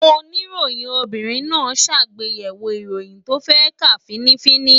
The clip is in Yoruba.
Oníròyìn obìnrin náà ṣàgbéyẹ̀wò ìròyìn tó fẹ́ kà fín-ní-fín-ní